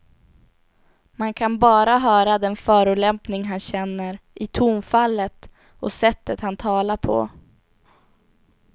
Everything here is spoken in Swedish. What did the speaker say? Man kan bara höra den förolämpning han känner i tonfallet och sättet han talar på.